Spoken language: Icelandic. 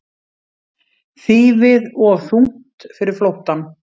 Þýfið of þungt fyrir flóttann